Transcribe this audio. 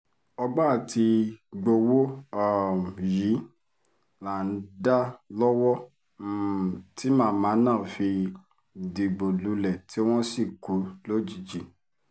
ọgbọ́n àti gbowó um yìí là ń dá lọ́wọ́ um tí màmá náà fi dìgbò lulẹ̀ tí wọ́n sì kú lójijì